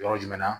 Yɔrɔ jumɛn na